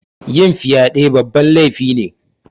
Yin fyaɗe babban lefi ne